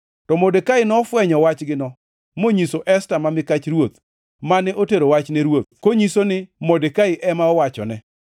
To Modekai nofwenyo wachgino monyiso Esta ma mikach ruoth, mane otero wach ne ruoth konyiso ni Modekai ema owachone.